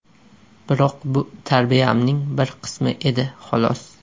Biroq bu tarbiyamning bir qismi edi, xolos.